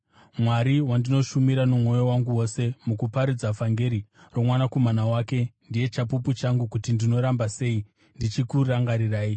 Mwari, wandinoshumira nomwoyo wangu wose mukuparidza vhangeri roMwanakomana wake, ndiye chapupu changu kuti ndinoramba sei ndichikurangarirai